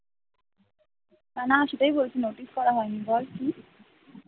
না সেটাই বলছিলাম notice করা হয়নি বল কি?